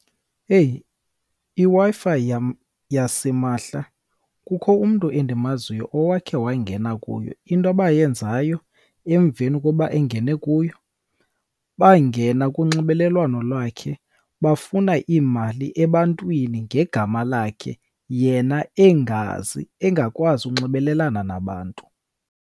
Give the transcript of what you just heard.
Eyi, iWi-Fi yasimahla kukho umntu endimaziyo owakhe wangena kuyo. Into abayenzayo emveni koba engene kuyo, bangena kunxibelelwano lwakhe bafuna iimali ebantwini ngegama lakhe yena engazi, engakwazi ukunxibelelana nabantu.